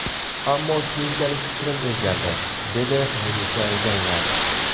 Ammo keyinchalik fikrim o‘zgardi”, dedi Munisa Rizayeva.